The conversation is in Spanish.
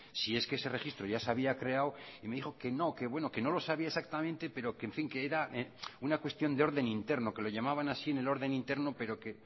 si es que ese registro ya se había creado y me dijo que no que bueno que no lo sabía exactamente pero que en fin que era una cuestión de orden interno que lo llamaban así en el orden interno pero que